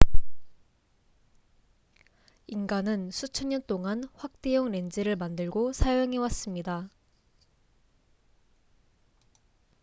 인간은 수천 년 동안 확대용 렌즈를 만들고 사용해 왔습니다